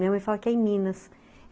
Minha mãe fala que é em Minas.